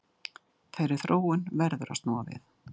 Þeirri þróun verður að snúa við